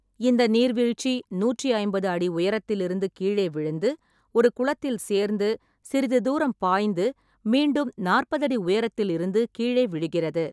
இந்த நீர்வீழ்ச்சி நூற்றி ஐம்பது அடி உயரத்திலிருந்து கீழே விழுந்து, ஒரு குளத்தில் சேர்ந்து, சிறிது தூரம் பாய்ந்து, மீண்டும் நாற்பது அடி உயரத்தில் இருந்து கீழே விழுகிறது.